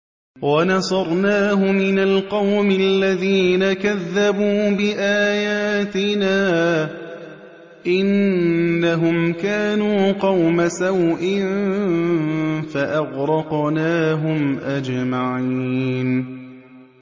وَنَصَرْنَاهُ مِنَ الْقَوْمِ الَّذِينَ كَذَّبُوا بِآيَاتِنَا ۚ إِنَّهُمْ كَانُوا قَوْمَ سَوْءٍ فَأَغْرَقْنَاهُمْ أَجْمَعِينَ